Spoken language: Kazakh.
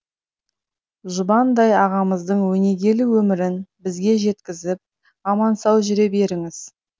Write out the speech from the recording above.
жұбандай ағамыздың өнегелі өмірін бізге жеткізіп аман сау жүре беріңіз